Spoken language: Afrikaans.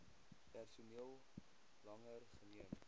personeel langer geneem